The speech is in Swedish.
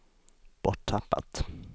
borttappat